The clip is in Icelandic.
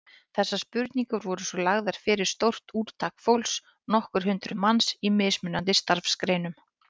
Þessar spurningar voru svo lagðar fyrir stórt úrtak fólks, nokkur hundruð manns, í mismunandi starfsgreinum.